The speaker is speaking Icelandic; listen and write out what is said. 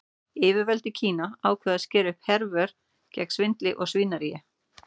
Yfirvöld í Kína ákváðu að skera upp herör gegn svindli og svínaríi.